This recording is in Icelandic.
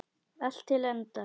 Allt til enda.